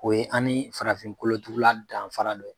O ye an ni farafinkolotugula danfara dɔ ye